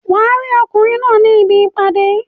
Wàá rí ọkùnrin náà ní ibi ìpàdé